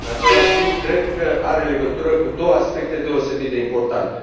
În același timp, cred că are legătură cu doua aspecte deosebit de importante.